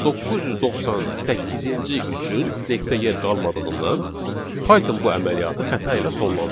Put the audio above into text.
998-ci üçün stekdə yer qalmadığından Python bu əməliyyatı xəta ilə sonlandırır.